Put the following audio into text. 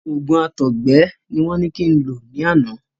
Òògùn àtọgbẹ ni wọ́n ní kin lo lánàá.